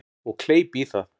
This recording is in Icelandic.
Og kleip í það.